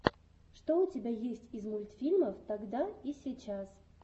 что у тебя есть из мультфильмов тогда и сейчас